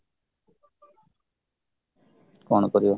କ'ଣ କରିବା